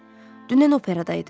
Dünən operadaydım.